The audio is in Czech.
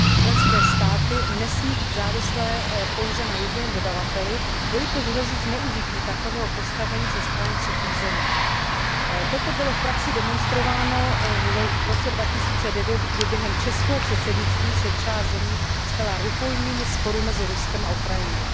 Členské státy nesmí být závislé pouze na jediném dodavateli, jelikož hrozí zneužití takového postavení ze strany třetích zemí. Toto bylo v praxi demonstrováno v roce 2009, kdy se během českého předsednictví část zemí stala rukojmími sporu mezi Ruskem a Ukrajinou.